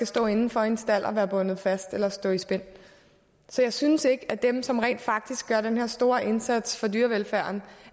stå indenfor i en stald og være bundet fast eller stå i spænd så jeg synes ikke at dem som rent faktisk gør den her store indsats for dyrevelfærden